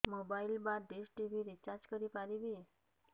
mobile ବା dish TV recharge କରି ପାରିବି